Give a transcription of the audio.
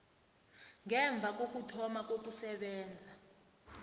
ngemva kokuthoma kokusebenza